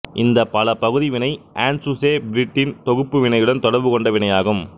இந்த பலபகுதி வினை ஆண்ட்சுசெ பிரிடின் தொகுப்பு வினையுடன் தொடர்பு கொண்ட வினையாகும்